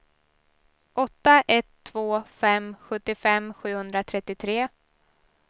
åtta ett två fem sjuttiofem sjuhundratrettiotre